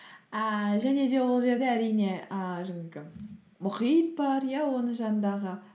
ііі және де ол жерде әрине ііі жаңағы мұхит бар иә оның жанындағы